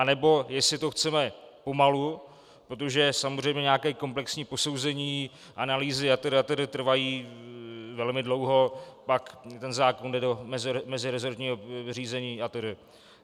Anebo jestli to chceme pomalu, protože samozřejmě nějaké komplexní posouzení, analýzy atd., atd. trvají velmi dlouho, pak ten zákon jde do meziresortního řízení atd.